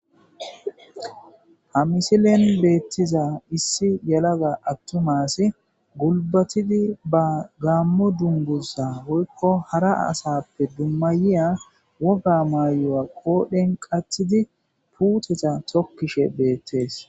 ha misilen beettiza issi yalaga attumaass gulbatidi ba gaammo dungusa woykko hara asappe dummayiya woga mayoya qoodhen qatidi puuteta tokkishe beettees